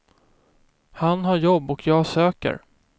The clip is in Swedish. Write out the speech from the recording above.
Han har jobb och jag söker.